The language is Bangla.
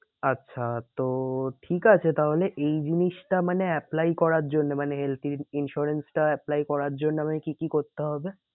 আচ্ছা তো ঠিক আছে তাহলে এই জিনিসটা মানে apply করার জন্য মানে health insurance টা apply করার জন্য আমাকে কি কি করতে হবে?